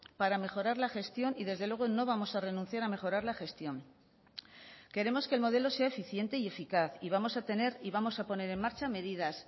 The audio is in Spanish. para mejorar la gestión y desde luego no vamos a renunciar a mejorar la gestión queremos que el modelo sea eficiente y eficaz y vamos a tener y vamos a poner en marcha medidas